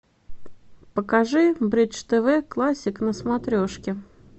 покажи бридж тв классик на смотрешки